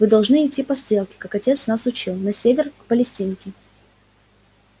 вы должны идти по стрелке как отец нас учил на север к палестинке